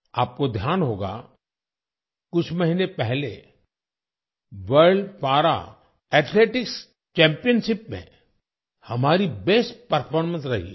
आपको ध्यान होगा कुछ महीने पहले वर्ल्ड पारा एथलेटिक्स चैम्पियनशिप में हमारी बेस्ट परफॉर्मेंस रही है